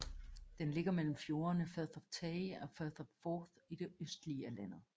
Den ligger mellem fjordene Firth of Tay og Firth of Forth i det østlige af landet